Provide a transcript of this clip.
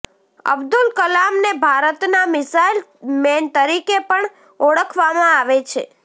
અબ્દુલ કલામને ભારતના missile man તરીકે પણ ઓળખવામાં આવે છે